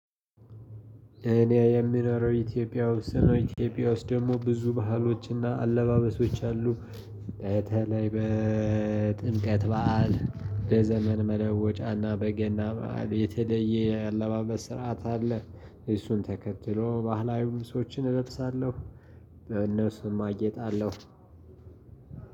እኔ የምኖረው ኢትዮጵያ ውስጥ ነው። ኢትዮጵያ ውስጥ ደግሞ ብዙ ባህሎችና አለባበሶች አሉ። በተለይ በጥምቀት በዓል በዘመን መለወጫና በገና በዓል የተለየ አለባበስ ስርዓት አለ። እሱን ተከትሎ ባህላዊ ልብሶችን እለብሳለሁ። በእነሱም አጌጣለሁ።